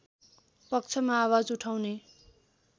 पक्षमा आवाज उठाउने